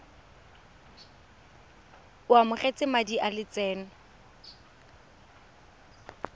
o amogetse madi a lotseno